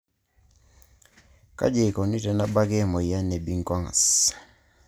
Kaji eikoni tenebaki emoyian e Binswanger's?